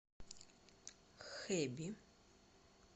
хэби